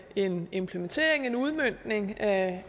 en implementering en udmøntning af